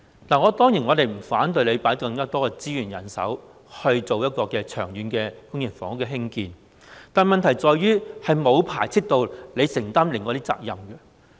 我們當然不反對政府投放更多資源和人手，興建長遠的公營房屋，但問題在於這與承擔另外的責任沒有排斥。